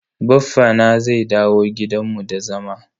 Baffa na zai dawo gidan mu da zama.